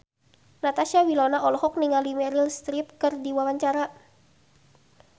Natasha Wilona olohok ningali Meryl Streep keur diwawancara